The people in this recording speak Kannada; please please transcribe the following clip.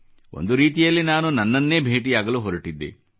ಒಂದು ರೀತಿಯಲ್ಲಿ ನಾನು ನನ್ನನ್ನೇ ಭೇಟಿಯಾಗಲು ಹೊರಟಿದ್ದೆ